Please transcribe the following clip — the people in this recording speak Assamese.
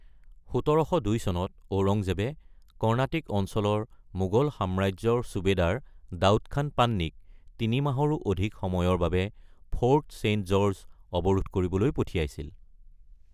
১৭০২ চনত ঔৰংজেবে কৰ্ণাটিক অঞ্চলৰ মোগল সাম্ৰাজ্যৰ সুবেদাৰ দাউদ খান পান্নিক তিনি মাহৰো অধিক সময়ৰ বাবে ফৰ্ট ছেইণ্ট জৰ্জক অৱৰোধ কৰিবলৈ পঠিয়াইছিল।